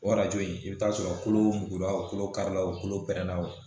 O arajo in i bɛ taa sɔrɔ kolo mugula o kolo kari la o kolo pɛrɛnna wo